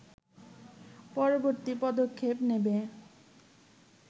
পরবর্তী পদক্ষেপ নেবে